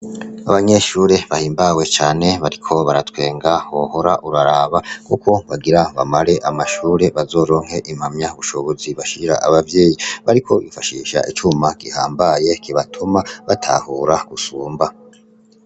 Abanyeshure bahimbawe cane bariko baratwenga wohora uraraba, kuko bagira bamare amashure bazoronke impamya bushobozi bashira abavyeyi,. Bariko bifashisha icuma gihambaye kibatuma batahura gusumba.